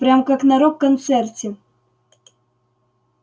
прям как на рок-концерте